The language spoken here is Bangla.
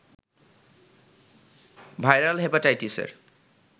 ভাইরাল হেপাটাইটিসের